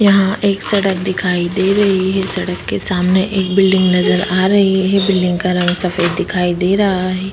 यहाँ एक सड़क दिखाई दे रही है सड़क के सामने एक बिल्डिंग नज़र आ रही है बिल्डिंग का रंग सफ़ेद दिखाई दे रहा है।